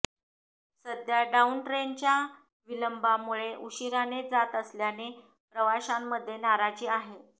सध्या डाऊन ट्रेनच्या विलंबामुळे उशिराने जात असल्याने प्रवाशांमध्ये नाराजी आहे